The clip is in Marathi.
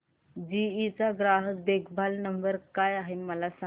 जीई चा ग्राहक देखभाल नंबर काय आहे मला सांग